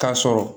K'a sɔrɔ